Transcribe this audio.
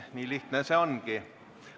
Nii lihtne see ongi.